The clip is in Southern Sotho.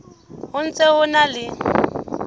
ho ntse ho na le